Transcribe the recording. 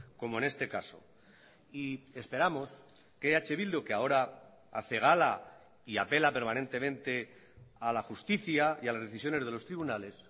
como en este caso y esperamos que eh bildu que ahora hace gala y apela permanentemente a la justicia y a las decisiones de los tribunales